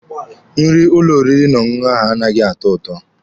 Nri ụlọ oriri na ọṅụṅụ ahụ anaghị atọ ụtọ.